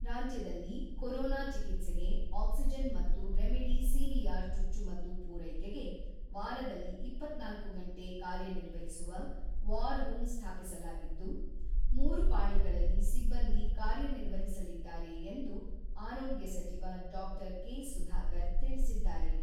ರಾಜ್ಯದಲ್ಲಿ ಕೊರೋನಾ ಚಿಕಿತ್ಸೆಗೆ ಆಕ್ಸಿಜನ್ ಮತ್ತು ರೆಮಿಡಿಸಿವಿಆರ್ ಚುಚ್ಚುಮದ್ದು ಪೂರೈಕೆಗೆ ವಾರದಲ್ಲಿ ಇಪ್ಪತ್ತ್ನಾಲ್ಕು ಗಂಟೆ ಕಾರ್ಯ ನಿರ್ವಹಿಸುವ ವಾರ್ ರೂಮ್ ಸ್ಥಾಪಿಸಲಾಗಿದ್ದು, ಮೂರು ಪಾಳಿಗಳಲ್ಲಿ ಸಿಬ್ಬಂದಿ ಕಾರ್ಯನಿರ್ವಹಿಸಲಿದ್ದಾರೆ ಎಂದು ಆರೋಗ್ಯ ಸಚಿವ ಡಾ.ಕೆ.ಸುಧಾಕರ್ ತಿಳಿಸಿದ್ದಾರೆ.